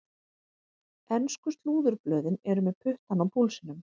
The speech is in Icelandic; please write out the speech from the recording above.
Ensku slúðurblöðin eru með puttann á púlsinum.